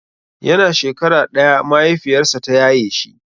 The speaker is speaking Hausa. Yana shekara ɗaya mahaifiyarsa ta yaye shi.